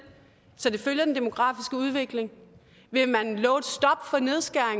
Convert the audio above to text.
så det følger den demografisk udvikling vil